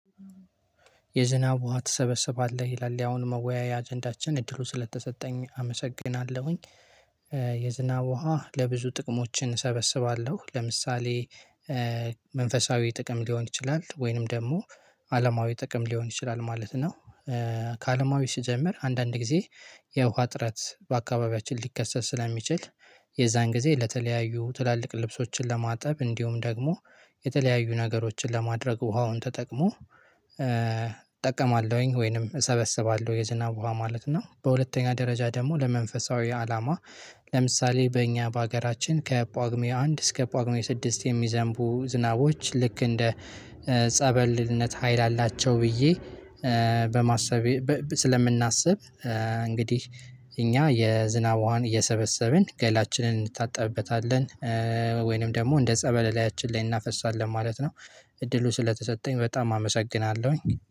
የዝናብ ውሃ ትሰበሰባለህ ይላል ያሁን መወያያ አጀንዳችን እድሉ ስለተሰጠኝ አመሰግናለሁኝ። የዝናብ ውሃ ለብዙ ጥቅሞችን እሰበስባለሁ ለምሳሌ። መንፈሳዊ ጥቅም ሊሆን ይችላል ወይንም ደግሞ አለማዊ ጥቅም ሊሆን ይችላል ማለት ነው። ከአለማዊ ሲጀምር አንዳንድ ጊዜ የውሃ ጥረት በአካባቢያችን ሊከሰት ስለሚችል የዛን ጊዜ ለተለያዩ ትላልቅ ልብሶችን ለማጠብ እንዲሁም ደግሞ የተለያዩ ነገሮችን ለማድረግ ውሃውን ተጠቅሞ። እጠቀማለሁኝ ወይንም እሰበስባለሁ የዝናብ ውሃ ማለት ነው። በሁለተኛ ደረጃ ደግሞ ለመንፈሳዊ አላማ። ለምሳሌ በእኛ በሀገራችን ከጳጉሜ አንድ እስከ ጳጉሜ ስድስት የሚዘንቡ ዝናቦች ልክ እንደ ጸበልነት ሀይል አላቸው ብዬ በማሰብ ስለምናስብ። እንግዲህ እኛ የዝናብ ውሃን እየሰበሰብን ገላችንን እንድታጠብበታለን ወይንም ደግሞ እንደ ጸበል ላይችን ላይ እናፈሳለን ማለት ነው። እድሉ ስለተሰጠኝ በጣም አመሰግናለሁኝ።